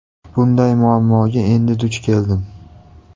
Bunday muammoga endi duch keldim.